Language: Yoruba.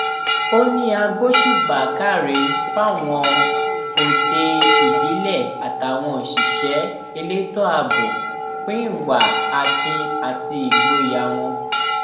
ó ní a gbóṣùbà káre fáwọn òde ìbílẹ àtàwọn òṣìṣẹ elétò ààbò fún ìwà akin àti ìgboyà wọn